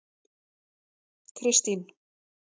Kristín